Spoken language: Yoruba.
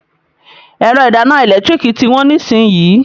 Ẹ̀rọ ìdáná ẹ̀lẹ́tíríìkì tí wọ́n nísìnyín.